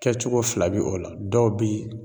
Kɛ cogo fila bi o la dɔw bi